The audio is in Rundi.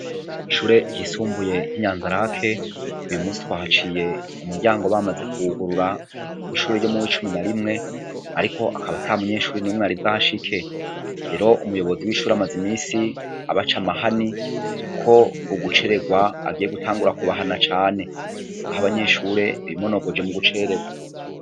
Kw'ishure ryisumbuye ry'Inyanzarake, uyu munsi twahaciye umuryango bamaze kuwugurura w'ishure ryo muw'icumi na rimwe, ariko akaba ata munyeshure n'umwe yari bwahashike. Rero umuyobozi w'ishure amaze imisi abaca amahani ko uguceregwa agiye gutangura kubahana cane, aho abanyeshure bimonogoje mu guceregwa.